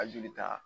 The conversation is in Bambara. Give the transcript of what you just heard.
A jolita